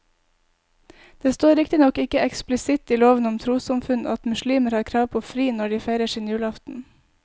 Det står riktignok ikke eksplisitt i loven om trossamfunn at muslimer har krav på fri når de feirer sin julaften.